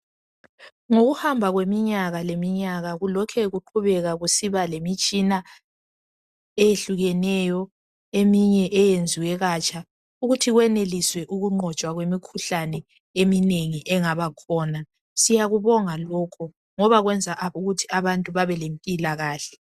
Ngokubamba kweminyaka leminyaka kulokhe kuqhubeka kusiba lemitshina eyehlukeneyo eminye eyenziwe katsha ukuthi kweneliswe ukunqotshwa kwemikhuhlane eminengi engaba khona siyakubonga lokho ngoba kwenza ukuthi abantu bebe lempilakahle.